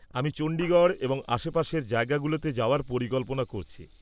আমি চণ্ডীগড় এবং আশেপাশের জায়গাগুলোতে যাওয়ার পরিকল্পনা করছি।